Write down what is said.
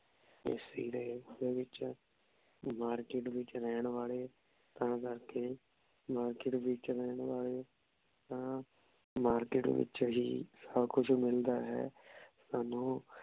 ਦੇ ਵਿਚ ਮਾਰਕੇਟ ਵਿਚ ਰਹਿਣ ਵਾਲੇ ਤਾਂ ਕਰ ਕੇ ਮਾਰਕੇਟ ਵਿਚ ਰਹਿਣ ਵਾਲੇ ਤਾਂ ਮਾਰਕੇਟ ਵਿਚ ਹੀ ਸਬ ਕੁਛ ਮਿਲਦਾ ਹੈ। ਸਾਨੂ